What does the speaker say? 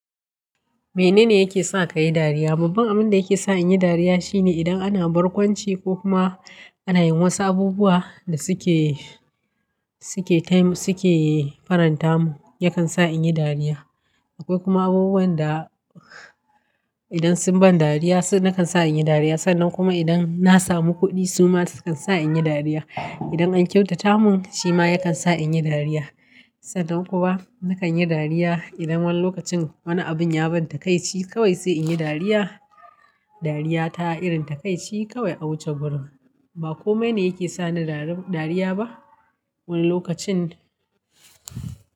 Mene ne yake sa ka yi dariya? Babban abin da yake sa in yi dariya shine idan ana barkwanci ko kuma ana yin wasu abubuwa da suke, suke time, suke faranta mun, yakan sa in yi dariya. Akwai kuma abubuwan da idan sun ban dariya nakan sa in yi dariya. Sannan kuma idan na samu kuɗi suma sukan sa in yi dariya. Idan an kyautata mun shi ma yakan sa in yi dariya. Sannan kuma nakan yi dariya idan wani lokacin wani abin ya ban takaici kawai sai in yi dariya. Dariya ta irin takaici kawai a wuce gurin. Ba komai ne yake sa ni dariya ba. Wani lokacin.